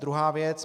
Druhá věc.